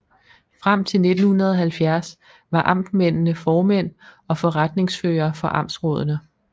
Frem til 1970 var amtmændene formænd og forretningsførere for amtsrådene